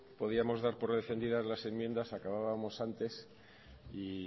podíamos dar por defendida las enmiendas acabábamos antes y